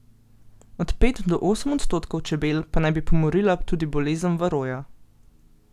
Od pet do osem odstotkov čebel pa naj bi pomorila tudi bolezen varoja.